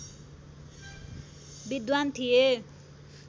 विद्वान् थिए